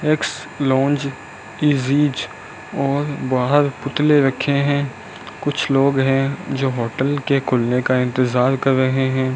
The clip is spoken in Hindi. एक्स लॉन्ज इजीज और बाहर पुतले रखे हैं कुछ लोग हैं जो होटल के खुलने का इंतजार कर रहे हैं।